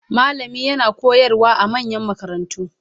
Malami yana koyarwa a manyan makarantu